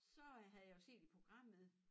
Så øh havde jeg jo set i programmet